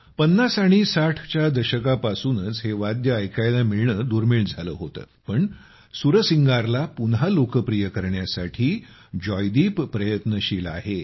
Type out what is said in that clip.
50 आणि 60 च्या दशकापासूनच हे वाद्य ऐकायला मिळणे दुर्मिळ झाले होते पण सुरसिंगारला पुन्हा लोकप्रिय करण्यासाठी जयदीप प्रयत्नशील आहेत